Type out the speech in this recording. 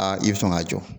Aa i bɛ sɔn ka jɔ